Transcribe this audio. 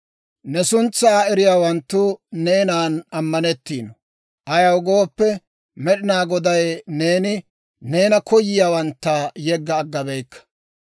Ne suntsaa eriyaawanttu neenan ammanettiino; ayaw gooppe, Med'inaa Godaw, neeni neena koyiyaawantta yegga agga beykka.